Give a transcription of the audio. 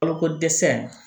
Balokodɛsɛ